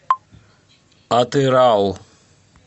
атырау